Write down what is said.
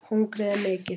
Hungrið er mikið